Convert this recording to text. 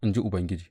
in ji Ubangiji.